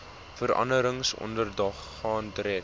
veranderings ondergaan direk